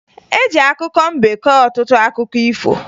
E ji akụkọ mbe kọọ ọtụtụ akụkọ ifo